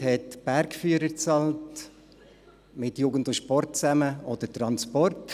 Die Gemeinde hat die Bergführer bezahlt und mit Jugend + Sport zusammen auch den Transport.